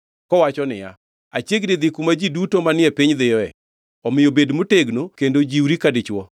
Kowacho niya, “Achiegni dhi kuma ji duto manie piny dhiye.” Omiyo bed motegno kendo jiwri ka dichwo,